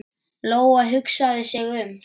Lóa-Lóa hugsaði sig um.